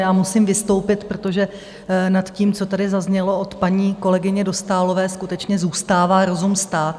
Já musím vystoupit, protože nad tím, co tady zaznělo od paní kolegyně Dostálové, skutečně zůstává rozum stát.